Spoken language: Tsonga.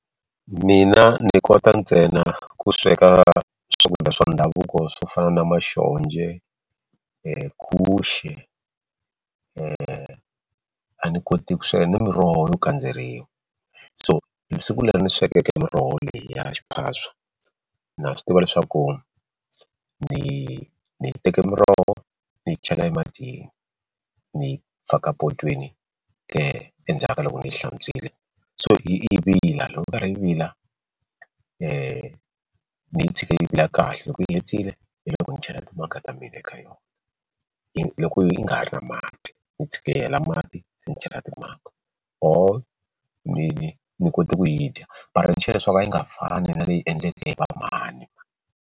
Mina ni kota ntsena ku sweka swakudya swa ndhavuko swo fana na guxe a ni koti ku sweka ni miroho yo kandzeriwa so hi siku leri ndzi swekeke miroho leya xiphaswa na swi tiva leswaku ni ni teke miroho ni yi chela ematini ni faka potweni endzhaku ka loko ni yi hlantswile so yi vila loko yi karhi yi vila ni yi tshika yi vile kahle loko yi hetile hi loko ni chela timanga ta mina eka yona yi loko yi nga ha ri na mati ni yi tshika yi hela mati se ni chela timanga or ni ni kote ku yi dya leswaku a yi nga fani na leyi endleke hi va mhani.